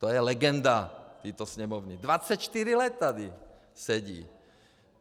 To je legenda této Sněmovny, 24 let tady sedí.